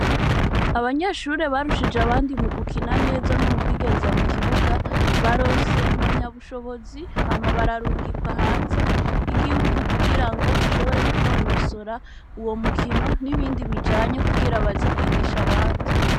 Abanyeshure barushije abandi mu gukina neza no mu kwigenza mu kibuga, baronse impamyabushobozi, hama bararungika hanze y'Igihugu, kugira bashobore kunonosora uwo mukino, n'ibindi bijanye kugira baze kwigisha neza abandi.